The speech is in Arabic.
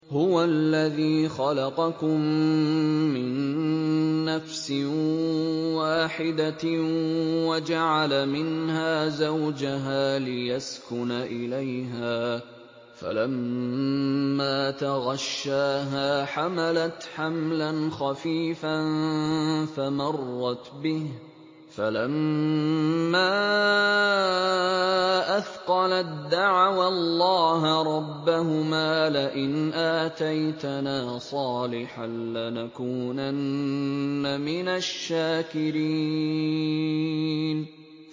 ۞ هُوَ الَّذِي خَلَقَكُم مِّن نَّفْسٍ وَاحِدَةٍ وَجَعَلَ مِنْهَا زَوْجَهَا لِيَسْكُنَ إِلَيْهَا ۖ فَلَمَّا تَغَشَّاهَا حَمَلَتْ حَمْلًا خَفِيفًا فَمَرَّتْ بِهِ ۖ فَلَمَّا أَثْقَلَت دَّعَوَا اللَّهَ رَبَّهُمَا لَئِنْ آتَيْتَنَا صَالِحًا لَّنَكُونَنَّ مِنَ الشَّاكِرِينَ